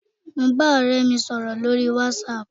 Mo ń bá ọ̀rẹ́ mi sọ̀rọ̀ lórí whatsapp.